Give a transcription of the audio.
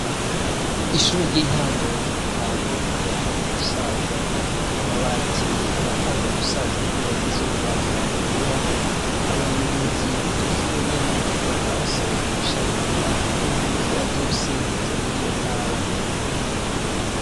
Ishure ry'intango ry'i Mutaho, riratanguye gusaza. Amabati yatanguye gusaza kubera iri zuba n'imvura, Abayobozi b'iryo shure nyene bakaba basaba ubufasha Leta n'imvukira zose zo muri iyo ntara.